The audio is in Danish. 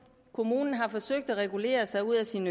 kommunen har forsøgt at regulere sig ud af sin